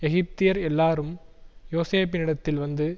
எகிப்தியர் எல்லாரும் யோசேப்பினிடத்தில் வந்து